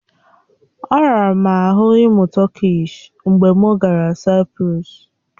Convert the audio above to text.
Ọ rara m ahụ ịmụ Tọkish mgbe m gara Saịprọs.